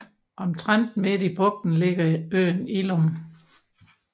Omtrent midt i bugten ligger øen Illum